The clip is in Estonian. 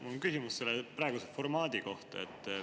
Mul on küsimus selle praeguse formaadi kohta.